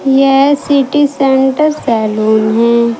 यह city centre saloon है।